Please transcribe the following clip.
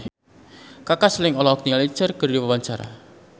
Kaka Slank olohok ningali Cher keur diwawancara